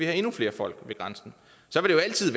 have endnu flere folk ved grænsen så